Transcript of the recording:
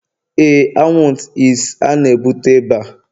Éè,. anwụnt it's, a na-ebute ịba